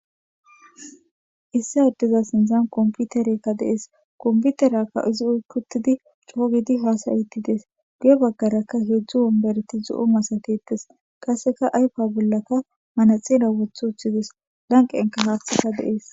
Issi addeza sinthan komputereykka de'es komputeriyakka izi oyki uttidi coogidi haasa'ide de'es guye baggarakka heedzdzu wombereti zo'o masatetes qasseka ayfa bollaka manaxire wothi uththides lanqenka haaththika de'es.